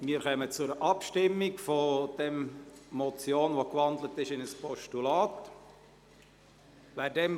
Wir kommen zur Abstimmung über diese Motion, die in ein Postulat gewandelt wurde.